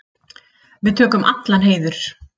Við tökum allan heiður.